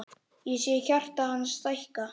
Ég sé hjarta hans stækka.